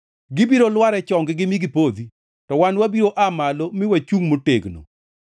Gibiro lwar e chonggi mi gipodhi, to wan wabiro aa malo mi wachungʼ motegno.